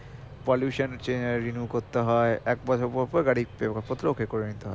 pollution renew করতে হয়ে এক বছর পর পর গাড়ির paper পত্র okay করে নিতে হয়ে